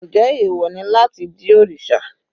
Njẹ́ ẹ̀wọ̀ ni láti jí òrìṣà?